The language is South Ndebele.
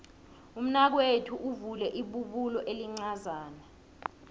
umnakwethu uvule ibubulo elincazana